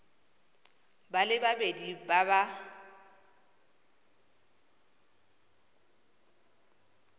ba le babedi ba ba